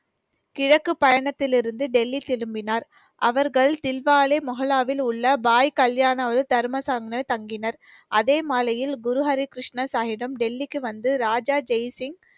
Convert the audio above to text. கிழக்கு பயணத்திலிருந்து டெல்லி திரும்பினார். அவர்கள் தில்வாலே முகலாவில் உள்ள பாய் கல்யாணம் தங்கினார். அதே மாலையில், குருஹரிகிருஷ்ண சாகிப்பிடம் டெல்லிக்கு வந்து ராஜா ஜெய்சிங்,